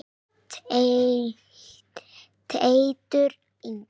Teitur Ingi.